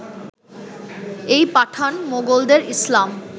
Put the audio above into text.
এই পাঠান-মোগলদের ইসলাম